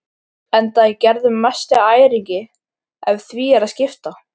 Enda er Gerður mesti æringi ef því er að skipta.